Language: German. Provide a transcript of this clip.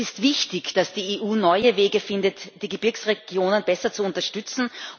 Es ist wichtig, dass die EU neue Wege findet, die Gebirgsregionen besser zu unterstützen.